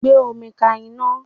Gbé omi ka iná